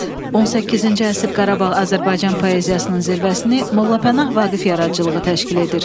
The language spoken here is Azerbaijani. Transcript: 18-ci əsr Qarabağ Azərbaycan poeziyasının zirvəsini Molla Pənah Vaqif yaradıcılığı təşkil edir.